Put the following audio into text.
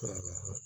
Hɛrɛ